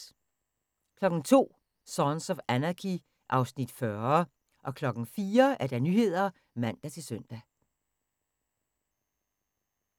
02:00: Sons of Anarchy (Afs. 40) 04:00: Nyhederne (man-søn)